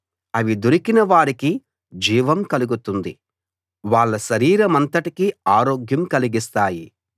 అవి దొరికిన వారికి జీవం కలుగుతుంది వాళ్ళ శరీరమంతటికీ ఆరోగ్యం కలిగిస్తాయి